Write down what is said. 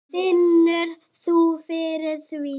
Finnur þú fyrir því?